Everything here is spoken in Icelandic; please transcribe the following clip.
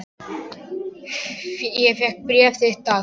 Ég fékk bréf þitt dags.